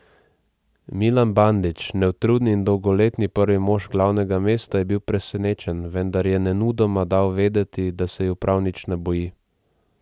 Milan Bandić, neutrudni in dolgoletni prvi mož glavnega mesta, je bil presenečen, vendar je nemudoma dal vedeti, da se ju prav nič ne boji.